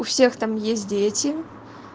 у всех там есть дети